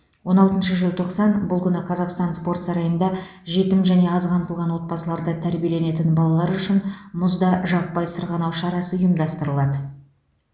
он алтыншы желтоқсан бұл күні қазақстан спорт сарайында жетім және аз қамтылған отбасыларда тәрбиеленетін балалар үшін мұзда жаппай сырғанау шарасы ұйымдастырылады